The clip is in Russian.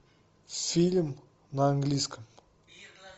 фильм на английском